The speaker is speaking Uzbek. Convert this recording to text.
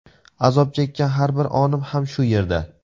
Azob chekkan har bir onim ham shu yerda.